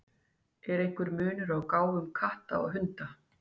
Er einhver munur á gáfum katta og hunda?